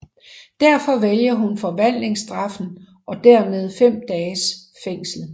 Derfor vælger hun forvandlingsstraffen og dermed 5 dages fængsel